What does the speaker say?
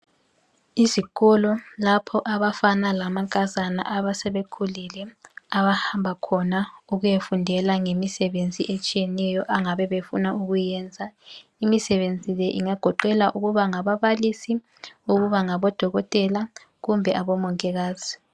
Izikolo lapho abafana lamankazana asebekhulile abahamba khona ukuyafundela ngemisebenzi etshiyeneyo abangabe befuna ukuyenza. Imsebenzi le ingagoqela ukuba ngababalisi ukuba ngodokotela kumbe abomongikazi.